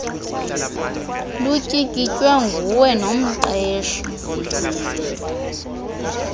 lutyikitywe nguwe nomqeshi